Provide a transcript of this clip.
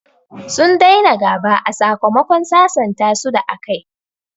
Sun daina gaba a sakamakon sasanta su da a kayi